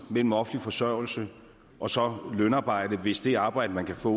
mellem offentlig forsørgelse og så lønarbejde hvis det arbejde man kan få